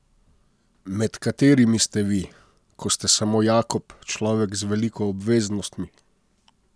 Med katerimi ste vi, ko ste samo Jakob, človek z veliko obveznostmi?